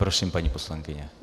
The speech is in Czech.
Prosím, paní poslankyně.